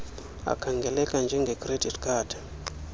akhangeleka njengecredit card